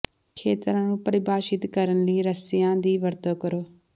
ਖੇਤਰਾਂ ਨੂੰ ਪਰਿਭਾਸ਼ਿਤ ਕਰਨ ਲਈ ਰੱਸਿਆਂ ਦੀ ਵਰਤੋਂ ਕਰੋ